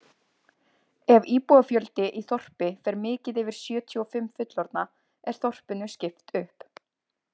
Ef íbúafjöldi í þorpi fer mikið yfir sjötíu og fimm fullorðna er þorpinu skipt upp.